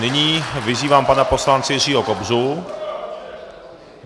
Nyní vyzývám pana poslance Jiřího Kobzu.